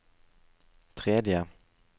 tredje